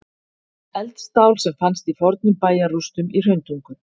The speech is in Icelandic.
Eldstál sem fannst í fornum bæjarrústum í Hrauntungu.